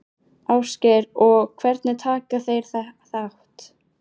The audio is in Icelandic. Ásgeir: Og hvernig taka þeir þátt?